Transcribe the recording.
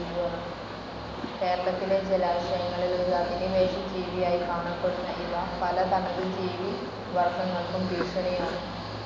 കേരളത്തിലെ ജലാശയങ്ങളിൽ ഒരു അധിനിവേശ ജീവിയായി കാണപ്പെടുന്ന ഇവ പല തനതു ജീവി വർഗങ്ങൾക്കും ഭീഷണിയാണ്.